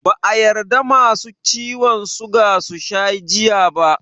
Ba a yadda Masu ciwan suga susha jiya ba